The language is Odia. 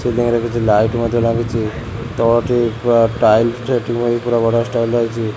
ସିଲିଂ ରେ କିଛି ଲାଇଟ୍ ମଧ୍ୟ ଲାଗିଛି ତଳଟି ପୁରା ଟାଇଲ୍ ରେ ଏମିତି ବଢ଼ିଆ ଷ୍ଟାଇଲ୍ ରେ ହେଇଛି।